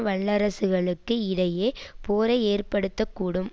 வல்லரசுகளுக்கு இடையே போரை ஏற்படுத்த கூடும்